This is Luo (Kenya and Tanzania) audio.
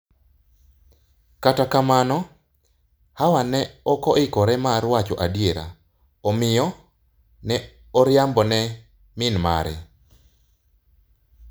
Kata kamano, Hawa ne ok oikore mar wacho adier, omiyo ne oriambo ne min mare.